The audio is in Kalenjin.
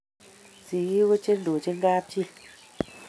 singik ko chendochin kab chi